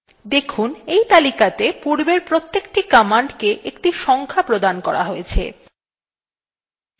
দেখুন এই তালিকাতে পূর্বের প্রতেকটি commands একটি সংখ্যা প্রদান করা হয়ছে